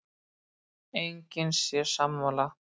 Enginn sé sammála.